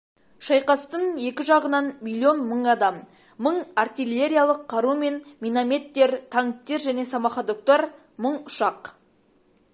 шайқастың екі жағынан миллион мың адам мың артиллериялық қару мен минометтер танктер және самоходоктар мың ұшақ